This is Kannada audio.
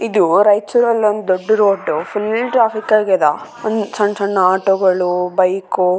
ಇದು ರೈಚೂರಲ್ಲಿ ಒಂದು ದೊಡ್ಡ್ ರೋಡ್ ಫುಲ್ಲ್ ಟ್ರ್ಯಾಫಿಕ್ ಆಗ್ಯಾವ ಒಂದ್ ಸಣ್ಣ್ ಸಣ್ಣ್ ಆಟೋ ಗಳು ಬೈಕ್ .